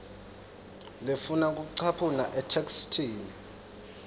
lefuna kucaphuna etheksthini